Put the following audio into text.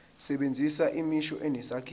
sebenzisa imisho enesakhiwo